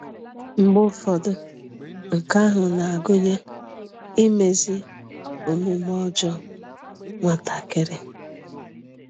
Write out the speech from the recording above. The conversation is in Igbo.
Mgbe ụfọdụ, nke ahụ na-agụnye imezi omume ọjọọ nwatakịrị.